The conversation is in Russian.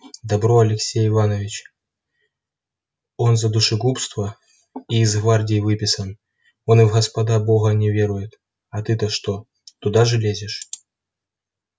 добро алексей иванович он за душегубство и из гвардии выписан он и в господа бога не верует а ты-то что туда же лезешь